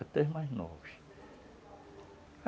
até os mais novos.